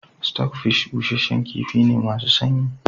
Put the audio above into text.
Stockfish busasshen kifi ne masu sanyi